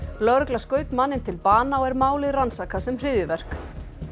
lögregla skaut manninn til bana og er málið rannsakað sem hryðjuverk